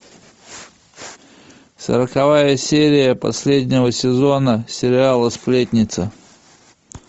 сороковая серия последнего сезона сериала сплетница